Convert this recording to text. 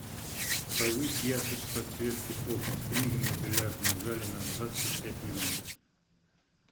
повысь яркость подсветки полки с книгами в бильярдном зале на двадцать пять минут